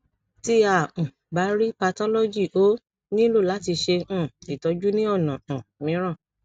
ti a um ba rii pathology o nilo lati ṣe um itọju ni ọna um miiran